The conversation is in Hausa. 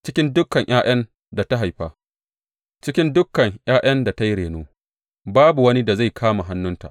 Cikin dukan ’ya’yan da ta haifa; cikin dukan ’ya’yan da ta yi reno babu wani da zai kama hannunta.